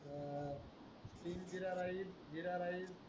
तीन jeera rice jeera rice